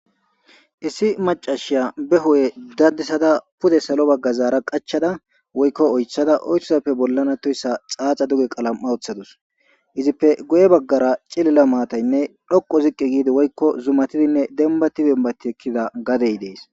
Issi macashiya be ho'e dadisada pude salo bagga zaara qachada woykko oythada oytozappe bollana toyssa xaaxa duge qalam'a woththadus izippe goye baggara cilila maataynne dhoqo ziqqi giidi woykko zumatidinne denbati denbati ekkida gadey dees